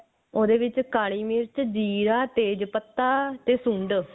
ਉਹਦੇ ਵਿੱਚ ਕਾਲੀ ਮਿਰਚ ਜੀਰਾ ਤੇਜ਼ ਪੱਤਾ ਤੇ ਸੁੰਡ